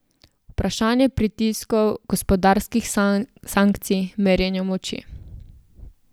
Vprašanje pritiskov, gospodarskih sankcij, merjenja moči.